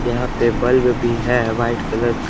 यहां पे बल्ब भी है व्हाइट कलर --